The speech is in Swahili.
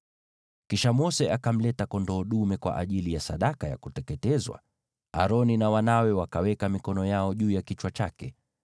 Kisha Mose akamleta kondoo dume kwa ajili ya sadaka ya kuteketezwa, naye Aroni na wanawe wakaweka mikono yao juu ya kichwa chake.